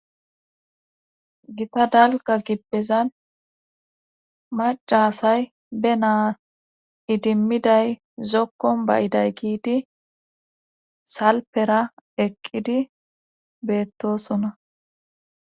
gita dalgga gibpezan macasay be naa idimmiday zokkon bayiday giidi salpera eqqidi beettoosona